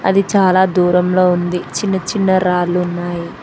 అది చాలా దూరంలో ఉంది చిన్న చిన్న రాళ్ళున్నాయి.